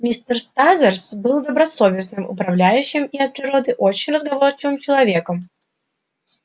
мистер стразерс был добросовестным управляющим и от природы очень разговорчивым человеком